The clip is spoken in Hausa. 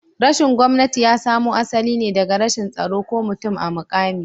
rashin gomnati yasamo asaline daga rashin tsaro ko mutum a mukami